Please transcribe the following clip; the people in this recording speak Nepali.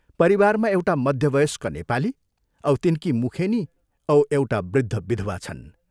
परिवारमा एउटा मध्यवयस्क नेपाली औ तिनकी मुखेनी औ एउटा वृद्ध विधवा छन्।